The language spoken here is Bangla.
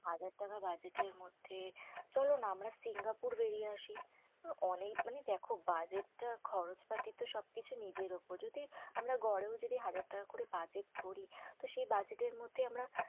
হাজার টাকা budget এর মধ্যে চলো না আমরা সিঙ্গাপুর বেরিয়ে আসি। অনেক মানে দেখো, budget টা খরচপাতি তো সবকিছু নিজের ওপর। যদি আমরা গড়েও যদি হাজার টাকা করে budget ধরি, তো সেই budget এর মধ্যে আমরা